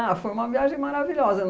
foi uma viagem maravilhosa.